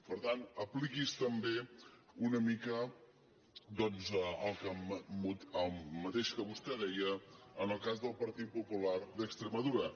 per tant apliqui’s també una mica el mateix que vostè deia en el cas del partit popular d’extremadura